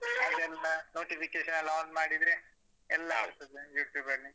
ಅದೆಲ್ಲ notification ನೆಲ್ಲ on ಮಾಡಿದ್ರೆ ಎಲ್ಲ ಬರ್ತದೆ YouTube ಅಲ್ಲಿ